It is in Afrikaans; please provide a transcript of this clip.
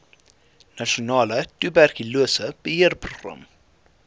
nasionale tuberkulose beheerprogram